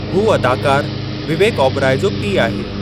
हू अदाकारु विवेक ओबेरॉय जो पीउ आहे।